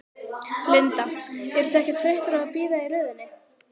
Linda: Eruð þið ekkert þreyttar á að bíða í röðinni?